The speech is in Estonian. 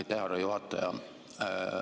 Aitäh, härra juhataja!